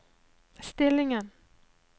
stillingen